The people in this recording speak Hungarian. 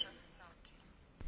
Köszönöm szépen!